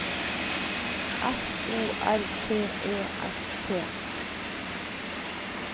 F O R T E S T